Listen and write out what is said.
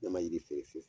Ɲamaji feere fiyewu